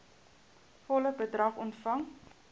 volle bedrag ontvang